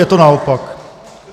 Je to naopak.